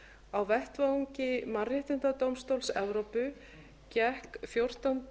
á vettvangi mannréttindadómstóls evrópu gekk fjórtánda